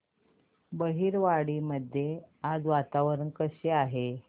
बहिरवाडी मध्ये आज वातावरण कसे आहे